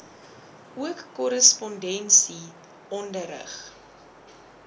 ook korrespondensie onderrig